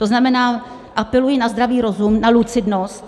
To znamená, apeluji na zdravý rozum, na lucidnost.